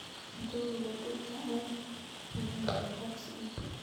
njuguk ko tupcho ak magandek ak soya